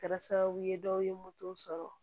Kɛra sababu ye dɔw ye moto sɔrɔ